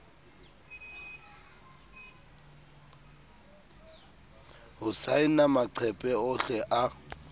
ho saena maqephe ohle a